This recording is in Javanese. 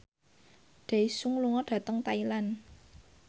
Daesung lunga dhateng Thailand